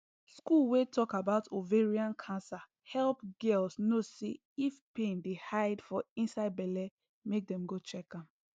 school wey talk about ovarian cancer help girls know say if pain dey hide for inside belle make dem go check am